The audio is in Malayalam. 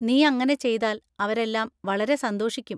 നീ അങ്ങനെ ചെയ്താൽ അവരെല്ലാം വളരെ സന്തോഷിക്കും.